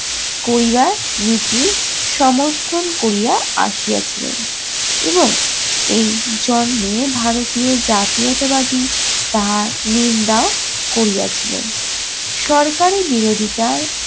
করিবার নীতি সমর্থন করিয়া আসিয়াছিলেন। এবং এই জন্মে ভারতীয় জাতীয়তাবাদী তাহা নিন্দাও করিয়াছিলেন। সরকারি বিরোধিতার